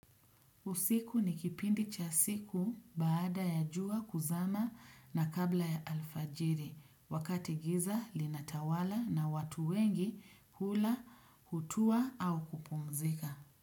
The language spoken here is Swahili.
Usiku ni kipindi cha siku baada ya jua kuzama na kabla ya alfajiri wakati giza linatawala na watu wengi kula kutua au kupumzika.